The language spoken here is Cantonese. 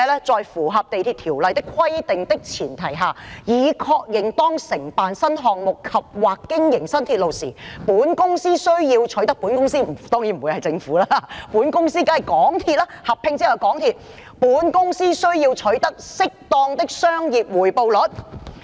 "在符合《地鐵條例》的規定的前提下，已確認當承辦新項目及/或經營新鐵路時，本公司"——當然不會是政府，而是合併後的港鐵公司——"需要取得適當的商業回報率。